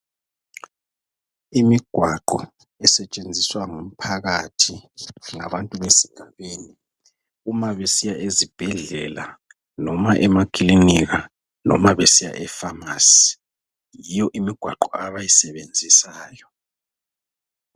Imigwaqo esetshenziswa ngumphakathi ngabantu besigabeni ,uma besiya ezibhedlela noma emakilinika noma besiya emafamasi, yiyo imigwaqo abayisebenzisayo.